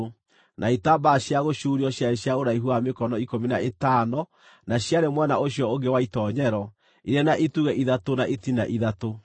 na itambaya cia gũcuurio ciarĩ cia ũraihu wa mĩkono ikũmi na ĩtano na ciarĩ mwena ũcio ũngĩ wa itoonyero, irĩ na itugĩ ithatũ na itina ithatũ.